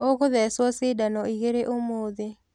Ũgũthecwo cindano igĩrĩ ũmothĩ.